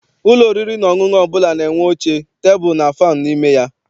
Ụlọ oriri na ọṅụṅụ ọbụla na-enwe oche, tebulu and fannụ n'ime ya.